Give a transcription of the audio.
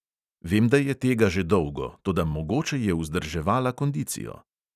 Vem, da je tega že dolgo, toda mogoče je vzdrževala kondicijo.